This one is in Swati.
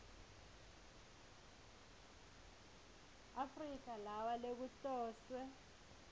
afrika lawa lekuhloswe